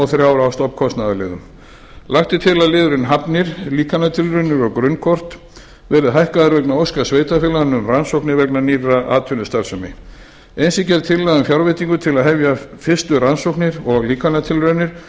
þrjár á stofnkostnaðarliðum lagt er til að liðurinn hafnir líkantilraunir og grunnkort verði hækkaður vegna óska sveitarfélaganna um rannsóknir vegna nýrrar atvinnustarfsemi eins er gerð tillaga um fjárveitingu til að hefja fyrstu rannsóknir og líkantilraunir